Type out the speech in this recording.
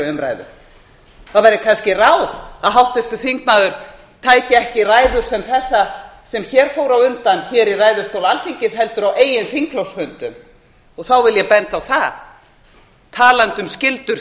umræðu það væri kannski ráð að háttvirtur þingmaður tæki ekki ræðu sem þessa sem hér fór á undan í ræðustól alþingis heldur á eigin þingflokksfundum þá vil ég benda á úr því að talið berst að skyldum